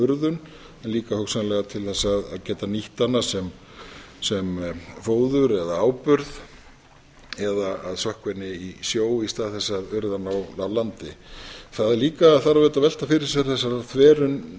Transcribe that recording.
urðun en líka hugsanlega til þess að geta nýtt hana sem fóður eða áburð eða að sökkva henni í sjó í stað þess að urða hana á landi það líka þarf auðvitað að velta fyrir sér